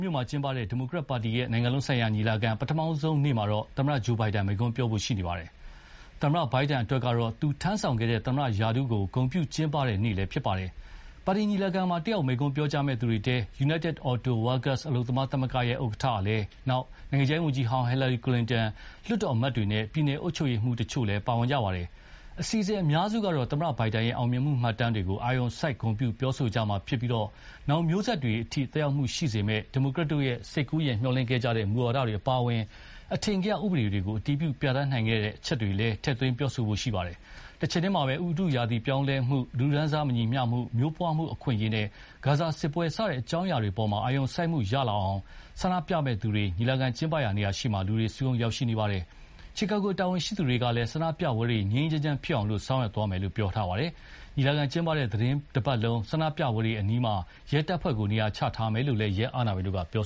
မြို့မှာကျင်းပတဲ့ ဒီမိုကရက်တစ်ပါတီရဲ့ နိုင်ငံလုံးဆိုင်ရာ ညီလာခံပထမဆုံးနေ့မှာတော့သာမန်လူတန်းစား တွေဆီကရော အစိုးရအရာရှိတွေအပြင် သမ္မတဂျိုးဘိုင်ဒန်တို့ကပါ မိန့်ခွန်းပြောကြားမယ်လို့ ပွဲစီစဥ်သူတွေက ပြောပါတယ်။ သမ္မတဘိုင်ဒန်အတွက် ကတော့ သူ့ထမ်းဆောင်ခဲ့တဲ့ သမ္မတရာထူးကို ဂုဏ်ပြုကျင်းပတဲ့ နေ့လည်းဖြစ်ပါတယ်။ ပါတီညီလာခံမှာ တက်ရောက်မိန့်ခွန်းပြောကြားမယ့်သူတွေထဲမှာ Unites Auto Workers အလုပ်သမားသမဂ္ဂဥက္ကဋ္ဌ Shawn Fain၊ နိုင်ငံခြားရေး ဝန်ကြီးဟောင်း Hillary Clinton၊ လွှတ်တော်အမတ်တွေနဲ့ ပြည်နယ်အုပ်ချုပ်ရေးမှူးတချို့လည်း ပါဝင်ပါတယ်။ အစီအစဉ်အများစုကတော့ သမ္မတ ဘိုင်ဒန်ရဲ့ အောင်မြင်မှုမှတ်တမ်းတွေကို အာရုံစိုက် ဂုဏ်ပြုပြောဆိုကြမှာဖြစ်ပြီး နောင်မျိုးဆက်တွေအထိ သက်ရောက်မှုရှိစေမယ့် ဒီမိုကရက်တို့ စိတ်ကူးယဥ်မျှော်လင့်ခဲ့ကြတဲ့ မူဝါဒတွေအပါအဝင်အထင်ကရ ဥပဒေတွေကို အတည်ပြုပြဌာန်းနိုင်ခဲ့တဲ့အချက်တွေလည်း ထည့်သွင်းပြောဆိုကြမှာဖြစ်ပါတယ်။ တချိန်တည်းမှာပဲ ဥတုရာသီပြောင်းလဲမှု၊ လူတန်းစားမညီမျှမှု၊ မျိုးပွါးမှုအခွင့်အရေးနဲ့ ဂါဇာစစ်ပွဲ စတဲ့အကြောင်းအရာတွေအပေါ် အာရုံစိုက်မှုရလာအောင်ဆန္ဒပြမယ့်သူတွေ ညီလာခံကျင်းပရာနေရာရှေ့မှာ လူတွေစုရုံးရောက်ရှိလာကြပါတယ်။ Chicago တာဝန်ရှိသူတွေက လည်း ဆန္ဒပြပွဲတွေ ငြိမ်းငြိမ်းချမ်းချမ်းဖြစ်အောင် ဆောင်ရွက်သွားမယ်လို့ပြောပါတယ်။ ညီလာခံကျင်းပတဲ့ သီတင်းတပတ်လုံး ဆန္ဒပြပွဲတွေအနီးမှာ ရဲတပ်ဖွဲ့ကိုနေရာချထားမယ်လို့လည်း ရဲအာဏာပိုင်တို့က ပြော